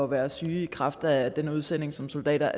være syge i kraft af den udsendelse som soldater